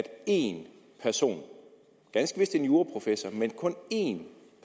én person ganske vist en juraprofessor men kun én